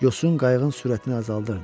Yosun qayığın sürətini azaldırdı.